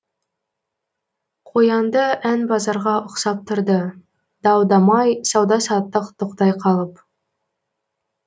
қоянды ән базарға ұқсап тұрды дау дамай сауда саттық тоқтай қалып